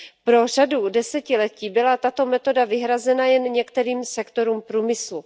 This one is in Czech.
Po řadu desetiletí byla tato metoda vyhrazena jen některým sektorům průmyslu.